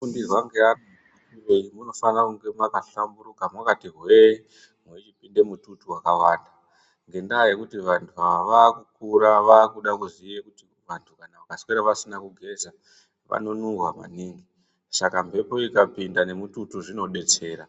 Munofundirwa ngevana munofanira kunge makahlamburuka makati hwee mwechipinde mututu wakawanda ngendaa yekuti vantu ava vaakukura vakuda kuziye kuti vantu kana vakaswera vasina kugeza vanonuhwa maningi saka mbepo ikapinda nemututu zvinodetsera.